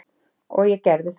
Og ég gerði það.